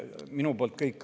Minu poolt kõik.